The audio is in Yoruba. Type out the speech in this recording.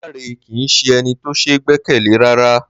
Láńre kì í s̩e e̩ni tó s̩e é gbé̩kè̩lé rárá ní